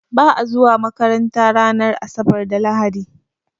Ba'a zuwa makaranta ranar asabar da lahadi